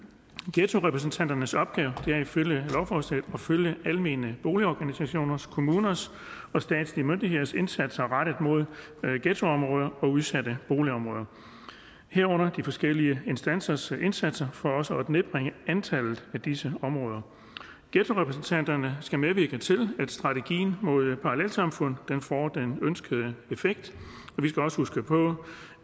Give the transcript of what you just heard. ghettorepræsentanternes opgave er ifølge lovforslaget at følge almene boligorganisationers kommuners og statslige myndigheders indsats rettet mod ghettoområder og udsatte boligområder herunder de forskellige instansers indsatser for også at nedbringe antallet af disse områder ghettorepræsentanterne skal medvirke til at strategien mod parallelsamfund får den ønskede effekt vi skal også huske på